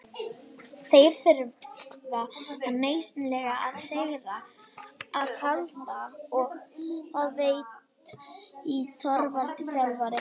Þeir þurfa nauðsynlega á sigri að halda og það veit Þorvaldur þjálfari.